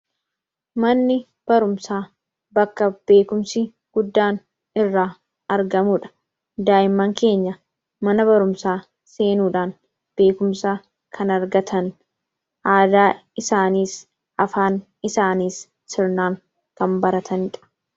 Manni barumsaa bakka beekumsi guddaan irraa argamudha. Daa'imman keenya mana barumsaa seenuudhaan beekumsa kan argatan. Aadaa isaaniis, afaan isaaniis sirnaan kan baratanidha.